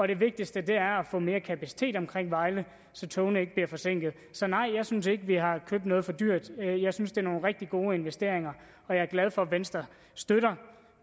det vigtigste er at få mere kapacitet omkring vejle så togene ikke bliver forsinket så nej jeg synes ikke vi har købt noget for dyrt jeg synes det er nogle rigtig gode investeringer og jeg er glad for at venstre støtter